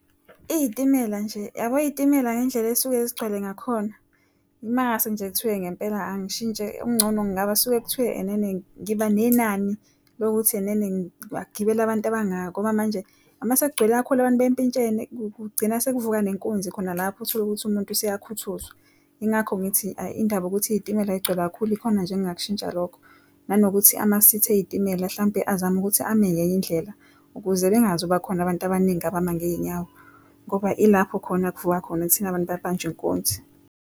Izitimela nje yabo, izitimela ngendlela ezisuke zigcwale ngakhona. Uma kungase nje kuthiwe ngempela angishintshe okungcono ngasuke kuthiwe ngiba nenani lokuthi ngagibela abantu abangaka ngoba manje ma sekugcwele kakhulu abantu bempintshene kugcina sekuvuka nenkunzi khona lapho utholukuthi umuntu useyakhuthuzwa. Yingakho ngithi indaba ukuthi izitimela zigcwele kakhulu ikona nje engingakushintsha lokho nanokuthi amasithi ezitimela mhlampe azame ukuthi ame ngenye indlela ukuze bengazoba khona abantu abaningi abama ngezinyawo ngoba ilapho khona kuvuka khona kuthina bantu babanjwe inkunzi.